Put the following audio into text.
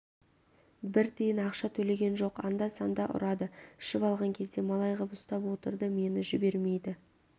бір тиын ақша төлеген жоқ анда-санда ұрады ішіп алған кезде малай ғып ұстап отырды мені жібермейді